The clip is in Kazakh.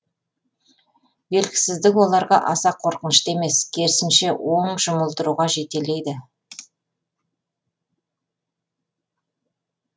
белгісіздік оларға аса қорқынышты емес керісінше оң жұмылдыруға жетелейді